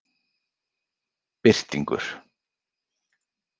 Birtingur